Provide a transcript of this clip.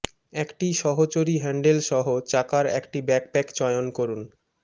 একটি সহচরী হ্যান্ডেল সহ চাকার একটি ব্যাকপ্যাক চয়ন করুন